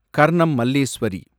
Karnam Malleswari